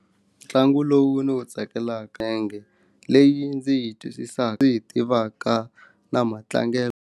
Ntlangu lowu ndzi wu tsakelaka leyi ndzi yi twisisaka ndzi yi tivaka na matlangelo.